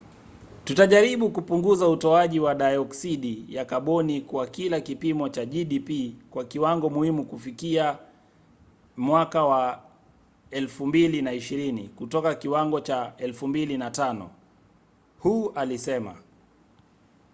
"tutajaribu kupunguza utoaji wa dayoksidi ya kaboni kwa kila kipimo cha gdp kwa kiwango muhimu kufikia 2020 kutoka kiwango cha 2005 hu alisema